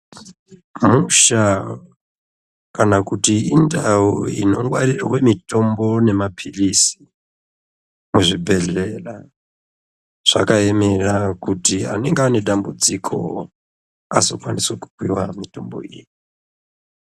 Musha kana kuti indau inongwarirwe mitombo nemaphilizi muzvibhedhlera zvakaemera kuti anenge ane dambudziko azokwaniso kupiwa mitombo iyi.